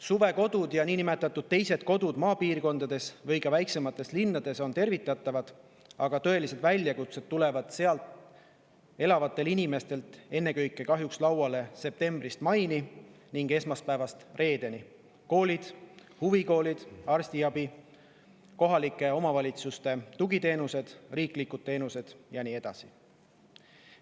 Suvekodud ja teised kodud maapiirkondades või ka väiksemates linnades on tervitatavad, aga tõelised väljakutsed tulevad seal elavatel inimestel kahjuks lauale ennekõike septembrist maini ning esmaspäevast reedeni: koolid, huvikoolid, arstiabi, kohalike omavalitsuste tugiteenused, riiklikud teenused ja nii edasi.